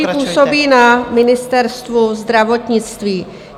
... kteří působí na Ministerstvu zdravotnictví.